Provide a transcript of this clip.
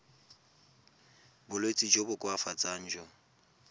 bolwetsi jo bo koafatsang jo